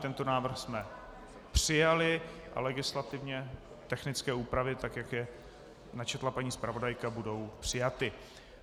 Tento návrh jsme přijali a legislativně technické úpravy, tak jak je načetla paní zpravodajka, budou přijaty.